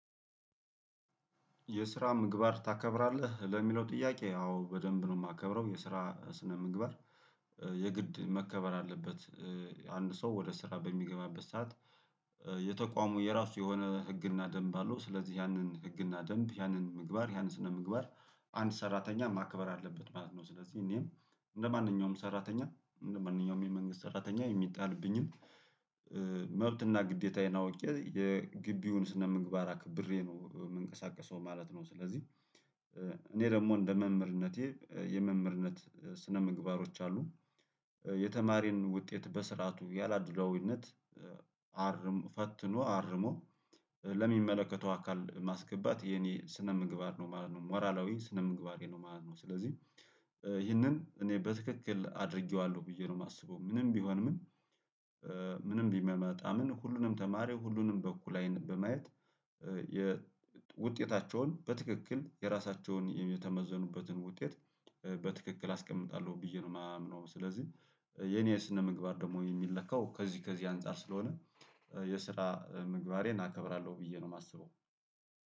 የስራ ምግባር ታከብራለህ? ለሚለው ጥያቄ አዎ በደንብ ነው የማከብረው የስራ ስነ ምግባር የግድ መከበር አለበት አንድ ሰው ወደ ስራ በሚገባበት ሰዓት የተቋሙ የራሱ የሆነ ህግና ደንብ አለው ስለዚህ ያንን ህግና ደንብ ያንን ምግባር ያንን ስነ ምግባር አንድ ሰራተኛ ማከበር አለበት ማለት ነው፤ ስለዚህ እኔም እንደማንኛውም ሰራተኛ እንደማንኛውም የመንግስት ሰራተኛ የሚጣልብኝን መብትና ግዴታዬን አውቄ የግቢውን ስነምግባር አክብሬ ነው የምንቀሳቀሰው ማለት ነው፤ ስለዚህ እኔ ደግሞ እንደ መምህርነቴ የመምህርነት ስነምግባሮች አሉ። የተማሪን ውጤት በስርዓቱ ያላድሎዊነት አርሞ ፈትኖ አርሞ ለሚመለከተው አካል ማስገባት የኔ ስነ ምግባር ነው ማለት ነው፣ ሞራላዊ ስነ ምግባሬ ነው ማለት ነው፤ ስለዚህ ይህንን እኔ በትክክል አድርጌዋለሁ ብዬ ነው የማስበው ምንም ቢሆን ምን ቢመጣ ምን ሁሉንም ተማሪው ሁሉንም በኩል አይን በማየት የውጤታቸውን በትክክል የራሳቸውን የተመዘኑበትን ውጤት በትክክል አስቀምጣለሁ ብዬ ነው የማምነው፤ ስለዚህ የኔ ስነምግባር ደግሞ የሚለካው ከዚህ ከዚህ አንፃር ስለሆነ የስራ ምግባሬን እናከብራለሁ ብዬ ነው የማስበው።